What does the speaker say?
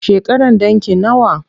Shekaran ɗanki nawa?